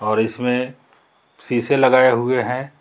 और इसमें शीशे लगाए हुए हैं।